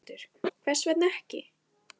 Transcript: Höskuldur: Hvers vegna ekki?